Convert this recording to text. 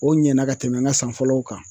O ɲɛna ka tɛmɛ n ka san fɔlɔw kan.